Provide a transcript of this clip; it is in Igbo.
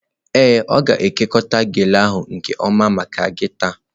Ee, ọ ga-ekekọta gele ahụ nke ọma maka gị taa.